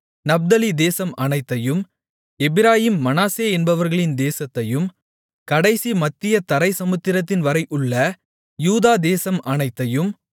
நப்தலி தேசம் அனைத்தையும் எப்பிராயீம் மனாசே என்பவர்களின் தேசத்தையும் கடைசி மத்திய தரை சமுத்திரம்வரை உள்ள யூதா தேசம் அனைத்தையும்